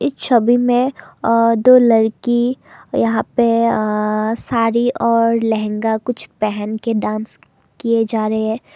इस छवि में दो लड़की यहां पर साड़ी और लहंगा कुछ पहन के डांस किया जा रहे हैं।